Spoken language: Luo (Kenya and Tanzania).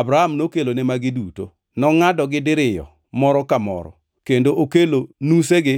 Abram nokelone magi duto, nongʼadogi diriyo moro ka moro kendo okelo nusegi